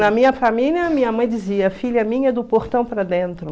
Na minha família, minha mãe dizia, filha minha é do portão para dentro.